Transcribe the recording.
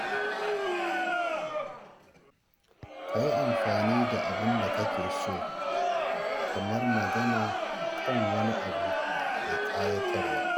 Ka yi amfani da abin da kake so kamar magana kan wani abu mai ƙayatarwa.